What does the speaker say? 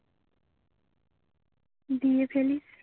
দিয়ে ফেলিস